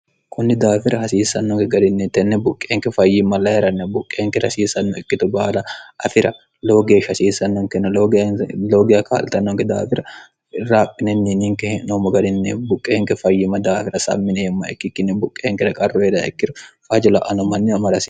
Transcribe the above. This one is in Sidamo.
kunni daafira hasiissannonke garinni tenne buqqeenke fayyimma lahi'ranna buqqeenker hasiissanno ikkitu baala afira loo geesh hasiisannonkenne loogiya kaalxannonke daafira raaphinenni ninke he'noommo garinne buqqeenke fayyima daafira sammine yemma ikkikkinne buqqeenkera qarru heeda ikkiru faajila'ano manni amarase